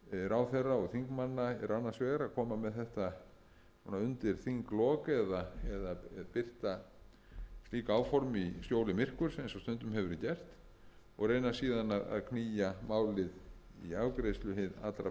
ráðherra og þingmanna eru annars vegar að koma með þetta svona undir þinglok eða birta slík áform í skjóli myrkurs eins og stundum hefur verið gert og raunar síðan að knýja málið í afgreiðslu hið allra